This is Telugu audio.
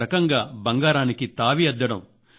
ఒక రకంగా బంగారానికి తావి అద్దడం